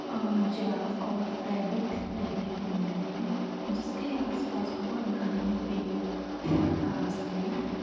अ giraffe और rabbit देखने को मिल रहे है जिसके आस-पास बहुत घने पेड़ और घास है।